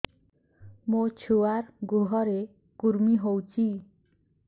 ମୋ ଛୁଆର୍ ଗୁହରେ କୁର୍ମି ହଉଚି